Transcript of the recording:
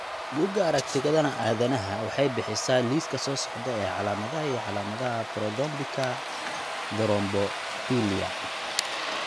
Bugaa aragtida aDdanaha waxay bixisaa liiska soo socda ee calaamadaha iyo calaamadaha Prothrombinka thrombophilia.